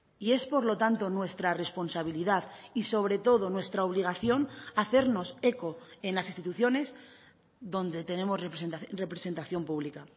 y es por lo tanto nuestra responsabilidad y sobre todo nuestra obligación hacernos eco en las instituciones donde tenemos representación pública